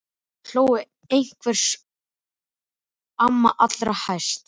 Þau hlógu einhver ósköp og amma allra hæst.